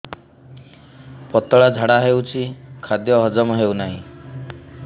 ପତଳା ଝାଡା ହେଉଛି ଖାଦ୍ୟ ହଜମ ହେଉନାହିଁ